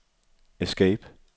escape